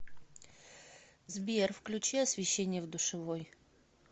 сбер включи освещение в душевой